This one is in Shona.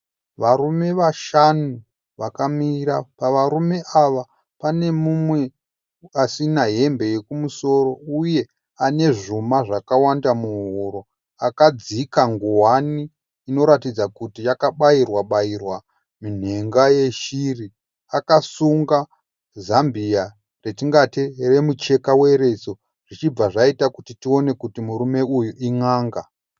Varume vashanu vakamira. Pavarume ava pane mumwe asina hembe yekumusoro. Uye ane zvuma zvakawanda muhuro. Akadzika nguwani inoratidza kuti yakabairwa bairwa minhenga yeshiri . Akasunga Zambia retingati remucheka weriso . Zvichibva zvaita kuti tione kuti murume uyu in"anga.